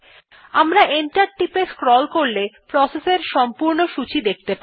আমরা এন্টার টিপে স্ক্রল করলে প্রসেস এর সম্পূর্ণ সূচী দেখতে পারব